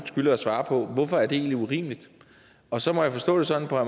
skylder at svare på hvorfor det egentlig er urimeligt og så må jeg forstå det sådan på